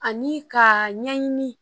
Ani ka ɲɛɲini